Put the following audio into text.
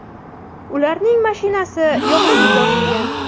Ularning mashinasi yoqib yuborilgan.